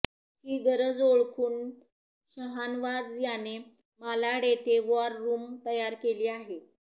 ही गरज ओळखून शहानवाज याने मालाड येथे वॉर रूम तयार केली आहे